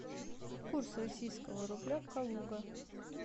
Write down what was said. курс российского рубля калуга